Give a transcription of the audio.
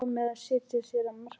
Hvað með að setja sér markmið?